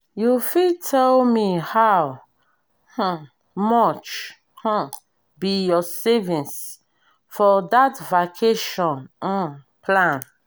you fit tell me how um much um be your savings for that vacation um plan?